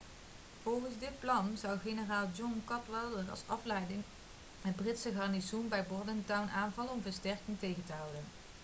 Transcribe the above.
volgens dit plan zou generaal john cadwalder als afleiding het britse garnizoen bij bordentown aanvallen om versterkingen tegen te houden